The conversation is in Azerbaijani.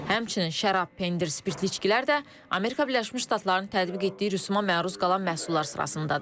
Həmçinin şərab, pendir, spirtli içkilər də Amerika Birləşmiş Ştatlarının tətbiq etdiyi rüsuma məruz qalan məhsullar sırasındadır.